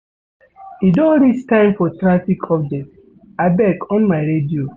E don reach time for traffic update abeg on my radio.